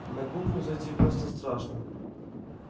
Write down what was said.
на кухню зайти просто страшно